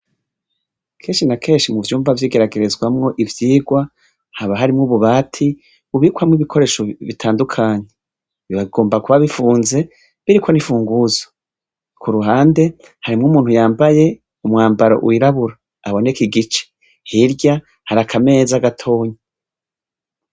Kenshi na kenshi mu vyumba vyigeragerezamw' ivyigwa, haba harimw' ububati bubikwamw' ibikoresho bitandukanye, biba bigomba kuba bifunze biriko n'imfunguruzo. Kuruhande, harimw' umuntu yambay' umwambaro wirabur' abonek' igice, hirya har' akameza. gatoyi.